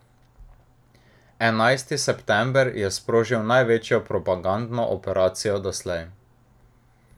Enajsti september je sprožil največjo propagandno operacijo doslej.